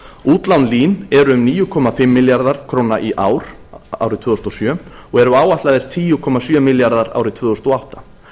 útlán lín eru um níu komma fimm milljarðar króna í ár og eru áætluð tíu komma sjö milljarðar króna árið tvö þúsund og átta